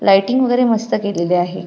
Lighting वगेरे मस्त केलेली आहे.